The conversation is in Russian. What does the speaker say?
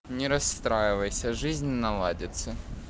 не расстраивайся жизнь наладится